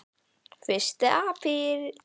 FYRSTI APRÍL